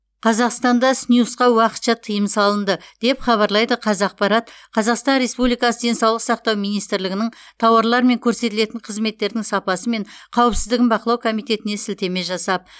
қазақстанда снюсқа уақытша тыйым салынды деп хабарлайды қазақпарат қазақстан республикасы денсаулық сақтау министрлігінің тауарлар мен көрсетілетін қызметтердің сапасы мен қауіпсіздігін бақылау комитетіне сілтеме жасап